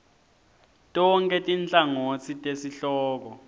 tonkhe tinhlangotsi tesihloko